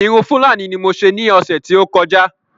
Irun Fúlàní ní mo ṣe ní ọ̀sè tí o kọjá